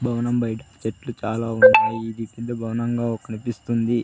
భవనం బయటికి చెట్లు చాలా ఉన్నాయి ఇది పెద్ద భవనంగా కనిపిస్తుంది.